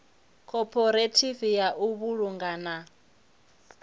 khophorethivi ya u vhulunga na